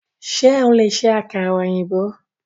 Ṣo lè ṣe àkàrà ọ̀yìnbó?